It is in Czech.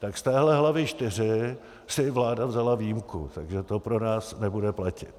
Tak z téhle hlavy IV si vláda vzala výjimku, takže to pro nás nebude platit.